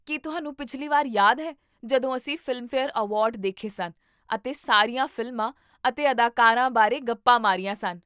ਕੀ ਤੁਹਾਨੂੰ ਪਿਛਲੀ ਵਾਰ ਯਾਦ ਹੈ ਜਦੋਂ ਅਸੀਂ ਫ਼ਿਲਮਫੇਅਰ ਅਵਾਰਡ ਦੇਖੇ ਸਨ ਅਤੇ ਸਾਰੀਆਂ ਫ਼ਿਲਮਾਂ ਅਤੇ ਅਦਾਕਾਰਾ ਬਾਰੇ ਗੱਪਾਂ ਮਾਰੀਆਂ ਸਨ?